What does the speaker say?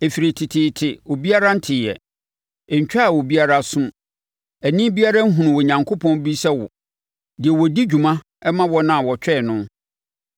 Ɛfiri teteete obiara nteeɛ, ɛntwaa obiara aso mu, ani biara nhunuu Onyankopɔn bi sɛ wo, deɛ ɔdi dwuma ma wɔn a wɔtwɛn no.